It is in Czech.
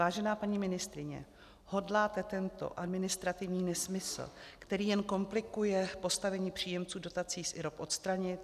Vážená paní ministryně, hodláte tento administrativní nesmysl, který jen komplikuje postavení příjemců dotací z IROP, odstranit?